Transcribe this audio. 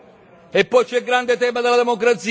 E poi c'è il grande tema della democrazia.